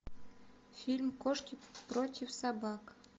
фильм кошки против собак